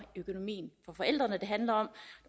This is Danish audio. økonomien for forældrene det handler om